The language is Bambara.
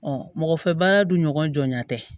mɔgɔfɛ baara dun ɲɔgɔn jɔnɲɛ tɛ